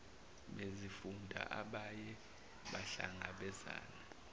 bezifunda abaye bahlangabezane